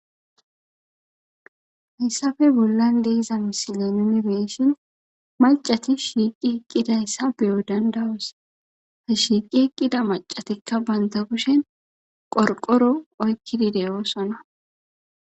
Hassappe bollan diza misile nuni be'ishin, mac'ati shiqi eqidaysa beyo danda'os. Shiiqi eqida mac'atika ba kushen qorqoro oykidi eqida.